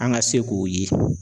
An ka se k'o ye